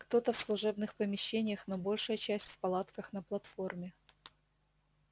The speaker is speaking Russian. кто-то в служебных помещениях но большая часть в палатках на платформе